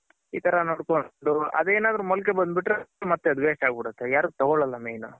ಈ ತರ ನೋಡ್ಕೊಂಡ್ ಅದೇನಾದ್ರೂ ಮೊಳಕೆ ಬಂದ್ ಬಿಟ್ರೆ ಮತ್ತೆ ಅದ್ waste ಆಗ್ ಬಿಡುತ್ತೆ ಯಾರು ತಗೋಳಲ್ಲ main.